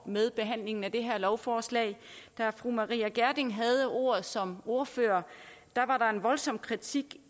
med behandlingen af det her lovforslag da fru maria reumert gjerding havde ordet som ordfører var der en voldsom kritik